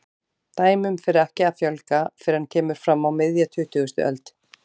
Dæmum fer ekki að fjölga fyrr en kemur fram á miðja tuttugustu öld.